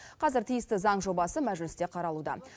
қазір тиісті заң жобасы мәжілісте қаралуда